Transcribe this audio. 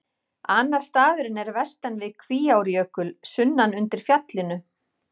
Annar staðurinn er vestan við Kvíárjökul, sunnan undir fjallinu.